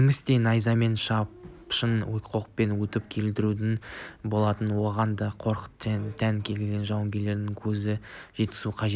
немісті де найзамен шаншып оқпен атып өлтіруге болатынына оған да қорқыныш тән екендігіне жауынгерлердің көзін жеткізу қажет